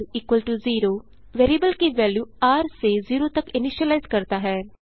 r0 variable की value र से ज़ेरो तक इनीशिलाइज करता है